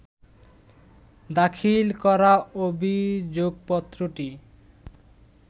দাখিল করা অভিযোগপত্রটি